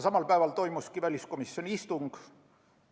Samal päeval toimus ka väliskomisjoni istung.